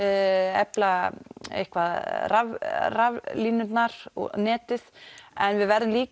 efla eitthvað raflínurnar og netið en við verðum líka